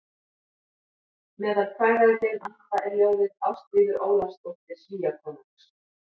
Meðal kvæða í þeim anda er ljóðið Ástríður Ólafsdóttir Svíakonungs